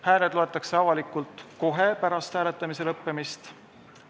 Hääled loetakse avalikult kohe pärast hääletamise lõppemist.